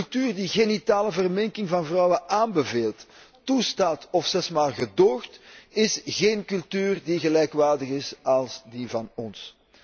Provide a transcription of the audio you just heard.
Een cultuur die genitale verminking van vrouwen aanbeveelt, toestaat of zelfs maar gedoogt, is geen cultuur die gelijkwaardig is aan die van ons.